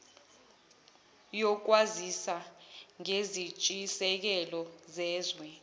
yokwazisa ngezintshisekelo zezwe